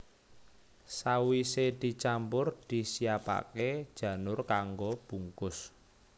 Sawisé dicampur disiapaké janur kanggo bungkus